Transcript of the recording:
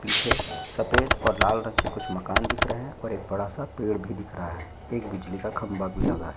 पीछे सफेद और लाल रंग के कुछ मकान दिख रहे है और एक बड़ा सा पेड़ भी दिख रहा है एक बिजली का खंबा भी लगा है।